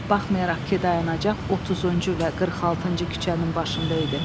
Baxmayaraq ki, dayanacaq 30-cu və 46-cı küçənin başında idi.